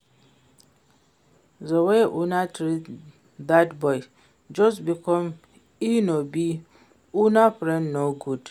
The way una treat dat boy just because e no be una friend no good